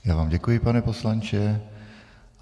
Já vám děkuji, pane poslanče.